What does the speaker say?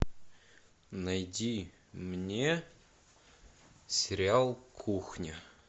найди мне сериал кухня